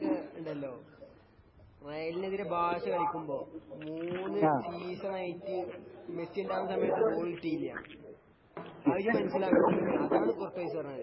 ഇപ്പൊ റേയിലൊക്കെ ഉണ്ടല്ലോ രായിലെനെതിരെ ഭാഷ കളിക്കുമ്പോ മൂന്നു സീസൺ ആയിട്ട് മെസ്സി ഉണ്ടാകുന്ന സമയത്ത് ഗോളി ടീമാ